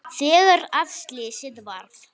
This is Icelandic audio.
Þegar að slysið varð?